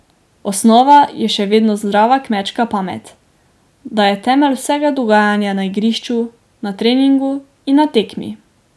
Osnova je še vedno zdrava kmečka pamet, da je temelj vsega dogajanje na igrišču, na treningu in na tekmi.